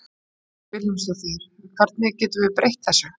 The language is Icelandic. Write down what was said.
Hödd Vilhjálmsdóttir: Hvernig getum við breytt þessu?